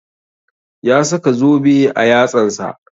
Ya saka zobe a yatsan sa